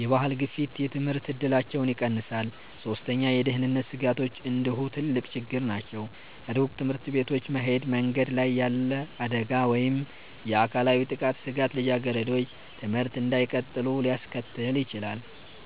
የባህል ግፊት የትምህርት እድላቸውን ይቀንሳል። ሶስተኛ፣ የደህንነት ስጋቶች እንዲሁ ትልቅ ችግር ናቸው። ሩቅ ትምህርት ቤቶች መሄድ፣ መንገድ ላይ ያለ አደጋ ወይም የአካላዊ ጥቃት ስጋት ልጃገረዶች ትምህርት እንዳይቀጥሉ ሊያስከትል ይችላል።